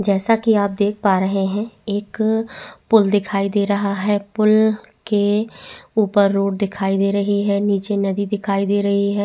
जैसा की आप देख पा रहा है एक पूल दिखाई दे रहा है पूल के ऊपर रोड दिखाई दे रही है नीचे नदी दिखाई दे रही है।